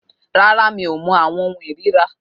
Rárá, mi ò mọ àwọn ohun ìríra